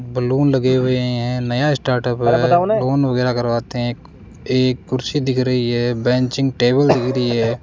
Balloon लगे हुए हैं नया स्टार्टअप है लोन वगैरह करवाते हैं एक कुर्सी दिख रही है बेंचिंग टेबल दिख रही है।